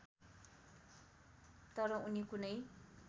तर उनी कुनै